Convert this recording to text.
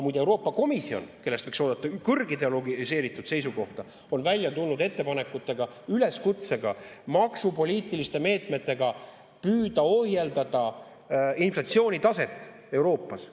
Muide, ka Euroopa Komisjon, kellest võiks oodata kõrgideologiseeritud seisukohta, on välja tulnud ettepanekutega, üleskutsega maksupoliitiliste meetmetega püüda ohjeldada inflatsioonitaset Euroopas.